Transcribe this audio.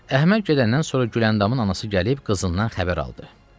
Əhməd gedəndən sonra Güləndamın anası gəlib qızından xəbər aldı.